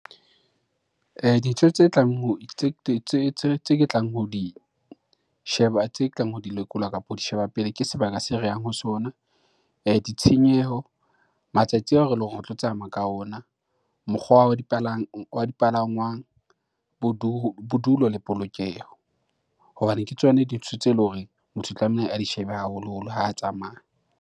Dintho tse ke tlang ho di sheba, tse ke tlang ho di lekolwa kapa ho di sheba pele, ke sebaka se re yang ho sona, ditshenyeho, matsatsi a lo ho reng tlo tsamaya ka ona, mokgwa wa dipalangwang, bodulo le polokeho, hobane ke tsona dintho tse e le horeng motho o tlameile a di shebe haholoholo ha tsamaya.